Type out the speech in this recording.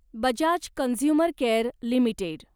Bajaj consumer care limited